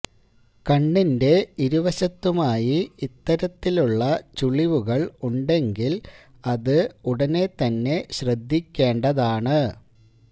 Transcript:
കണ്ണിന്റെ ഇരുവശത്തുമായി ഇത്തരത്തിലുള്ള ചുളിവുകൾ ഉണ്ടെങ്കിൽ അത് ഉടനേ തന്നെ ശ്രദ്ധിക്കേണ്ടതാണ്